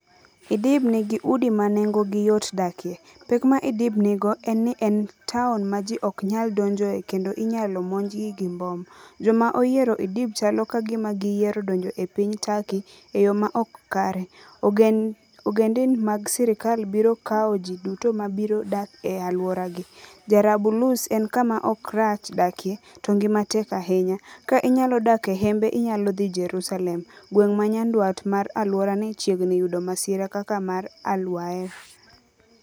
Idlib nigi udi ma nengogi yot dakie. "Pek ma Idlib nigo en ni en taon ma ji ok nyal donjoe kendo inyalo monjgi gi mbom. " "Joma oyiero Idlib chalo ka gima giyiero donjo e piny Turkey e yo ma ok kare. " "Ogendin mag sirkal biro kawo ji duto ma biro dak e alworagi. " "Jarabulus en kama ok rach dakie, to ngima tek ahinya. " "Ka inyalo dak e hembe inyalo dhi Jerusalem. " "Gweng' ma nyandwat mar alworani chiegni yudo masira kaka mar Al-Waer".